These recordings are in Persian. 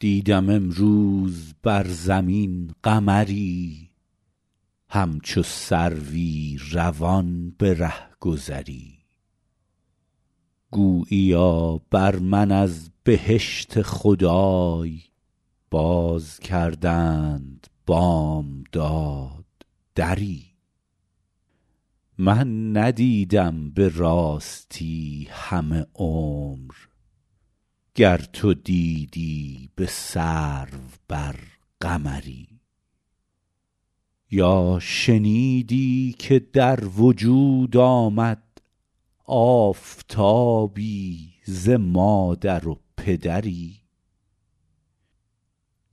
دیدم امروز بر زمین قمری همچو سروی روان به رهگذری گوییا بر من از بهشت خدای باز کردند بامداد دری من ندیدم به راستی همه عمر گر تو دیدی به سرو بر قمری یا شنیدی که در وجود آمد آفتابی ز مادر و پدری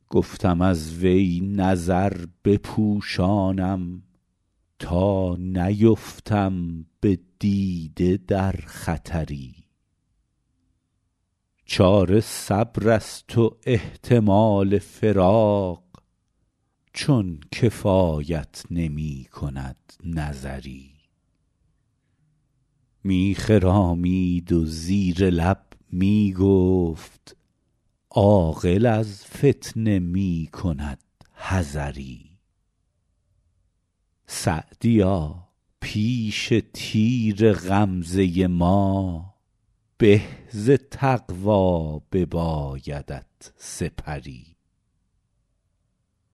گفتم از وی نظر بپوشانم تا نیفتم به دیده در خطری چاره صبر است و احتمال فراق چون کفایت نمی کند نظری می خرامید و زیر لب می گفت عاقل از فتنه می کند حذری سعدیا پیش تیر غمزه ما به ز تقوا ببایدت سپری